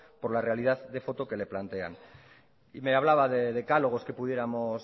por la realidad de foto que le plantean y me hablaba de decálogos que pudiéramos